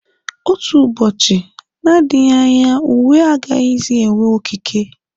Otu ụbọchị, nadịghị anya uwe agaghịzi enwe okike.